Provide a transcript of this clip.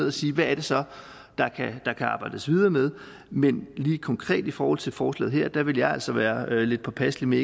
og sige hvad er det så der kan arbejdes videre med men lige konkret i forhold til forslaget her ville jeg altså være lidt påpasselig med